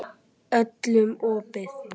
Öllum opið.